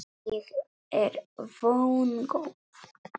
Ég er vongóð.